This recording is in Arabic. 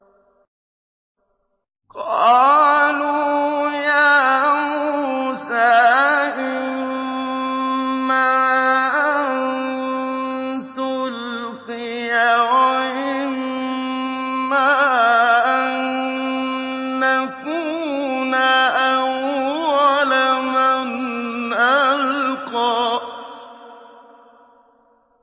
قَالُوا يَا مُوسَىٰ إِمَّا أَن تُلْقِيَ وَإِمَّا أَن نَّكُونَ أَوَّلَ مَنْ أَلْقَىٰ